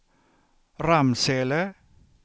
Ramsele